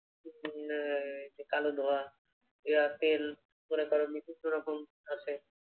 উম এইযে কালো ধোঁয়া তেল মনে করো বিভিন্ন রকম আছে